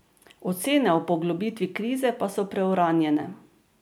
Ocene o poglobitvi krize pa so preuranjene.